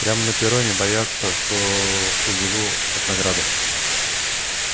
прямо на перроне боятся что убегу от награды